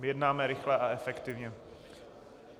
Jednáme rychle a efektivně.